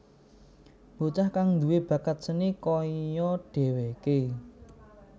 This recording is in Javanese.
Bocah kang duwé bakat seni kaya dheweké